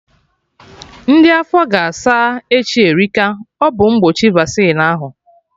Ndị afọ ga-asa echi Erika, ọ bụ mgbochi Vaccine ahụ